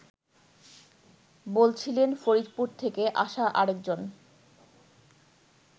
বলছিলেন ফরিদপুর থেকে আসা আরেকজন